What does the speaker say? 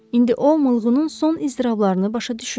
İndi o oğlunun son iztirablarını başa düşürdü.